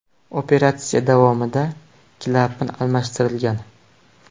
Operatsiya davomida klapan almashtirilgan.